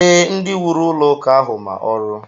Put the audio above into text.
Ee, ndị wuru ụlọụka ahụ ma ọrụ